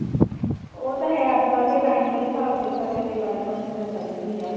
ਉਹ ਤਾਂ ਹੈ ਅੱਜਕੱਲ ਦੇ time ਦੇ ਹਿਸਾਬ ਸਿਰ ਤਾਂ ਫੇਰ development ਤਾਂ ਚਾਹੀਦੀ ਹੀ ਏ